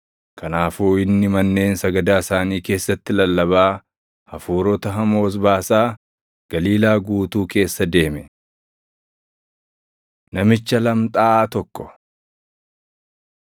Kanaafuu inni manneen sagadaa isaanii keessatti lallabaa, hafuurota hamoos baasaa, Galiilaa guutuu keessa deeme. Namicha Lamxaaʼaa Tokko 1:40‑44 kwf – Mat 8:2‑4; Luq 5:12‑14